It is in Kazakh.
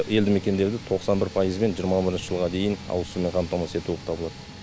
елді мекендерді тоқсан бір пайызбен жиырма бірінші жылға дейін ауызсумен қамтамасыз ету болып табылады